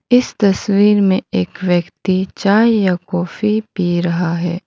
इस तस्वीर में एक व्यक्ति चाय या कॉफी पी रहा है।